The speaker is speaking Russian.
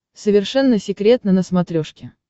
совершенно секретно на смотрешке